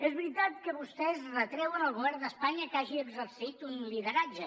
és veritat que vostès retreuen al govern d’espanya que hagi exercit un lideratge